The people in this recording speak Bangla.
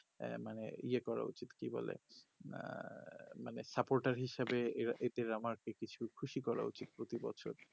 আঃ মানে ইয়ে করা উচিত কি বলে আঃ মানে sapotar হিসাবে এদের আমাকে কিছু খুশি করা উচিত প্রতি বছর